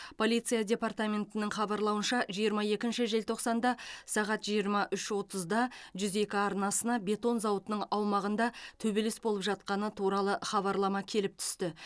полиция департаментінің хабарлауынша жиырма екінші желтоқсанда сағат жиырма үш отызда жүз екі арнасына бетон зауытының аумағында төбелес болып жатқаны туралы хабарлама келіп түсті